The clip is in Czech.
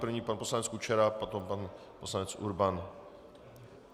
První pan poslanec Kučera, potom pan poslanec Urban.